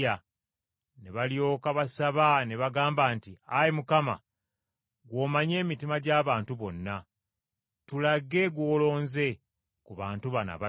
Ne balyoka basaba ne bagamba nti, “Ayi Mukama, gw’omanyi emitima gy’abantu bonna, tulage gw’olonze ku bantu bano ababiri,